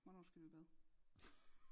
Hvornår skal du i bad